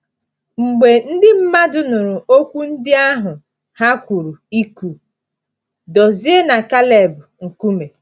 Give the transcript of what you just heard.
Mgbe ndị mmadụ nụrụ okwu ndị ahụ, ha kwuru ịkụ Dozie na Caleb nkume.